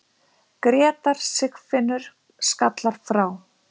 Grétar Sigfinnur skallar frá.